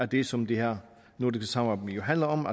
det som det her nordiske samarbejde handler om